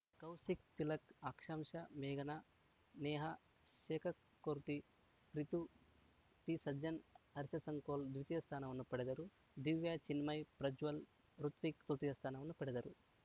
ಕೌಶಿಕ್‌ ತಿಲಕ್‌ ಆಕಾಂಕ್ಷ ಮೇಘನ ನೇಹ ಶೇಖರ್‌ಕೋಟಿ ಪ್ರೀತು ಪಿಸಜ್ಜನ್‌ ಹರ್ಷಸಂಕೋಲ್‌ ದ್ವಿತೀಯ ಸ್ಥಾನವನ್ನು ಪಡೆದರು ದಿವ್ಯ ಚಿನ್ಮಯ ಪ್ರಜ್ವಲ್‌ ಹೃತ್ವಿಕ್‌ ತೃತೀಯ ಸ್ಥಾನವನ್ನು ಪಡೆದರು